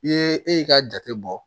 I ye e ka jate bɔ